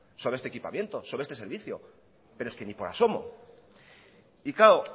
sobre este equipamiento sobre este servicio pero es que ni por asomo y claro